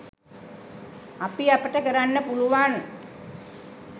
අපි අපට කරන්න පුළුවන්